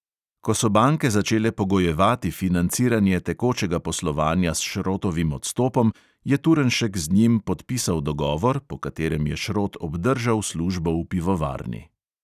Ko so banke začele pogojevati financiranje tekočega poslovanja s šrotovim odstopom, je turnšek z njim podpisal dogovor, po katerem je šrot obdržal službo v pivovarni.